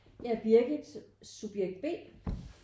Jeg er Birgit subjekt B